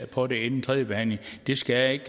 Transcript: på det inden tredjebehandlingen skal